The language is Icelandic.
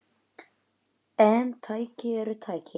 En tæki eru tæki.